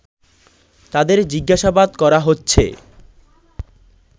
তাদের জিজ্ঞাসাবাদ করা হচ্ছে